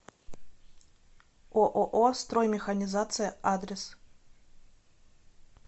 ооо строймеханизация адрес